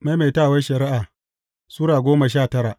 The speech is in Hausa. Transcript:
Maimaitawar Shari’a Sura goma sha tara